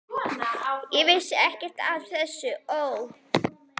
Vertu óhræddur við að biðja kærustuna og ömmurnar um ráð.